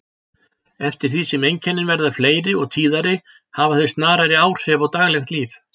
Eftir því sem einkennin verða fleiri og tíðari hafa þau snarari áhrif á daglegt líf.